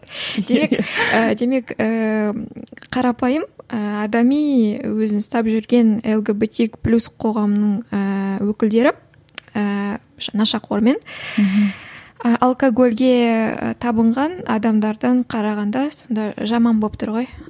демек ііі қарапайым ыыы адами өзін ұстап жүрген лгбт плюс қоғамының ііі өкілдері ііі нашақор мен і алкогольге табынған адамдардан қарағанда сонда жаман болып тұр ғой